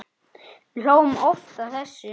Við hlógum oft að þessu.